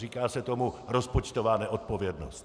Říká se tomu rozpočtová neodpovědnost.